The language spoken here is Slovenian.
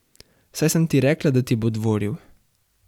Saj sem ti rekla, da ti bo dvoril.